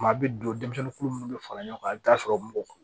Maa bɛ don denmisɛnnin minnu bɛ fara ɲɔgɔn kan i bɛ t'a sɔrɔ mugu